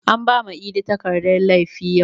An bama idi takardan laifi yau